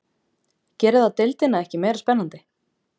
Gerir það deildina ekki meira spennandi?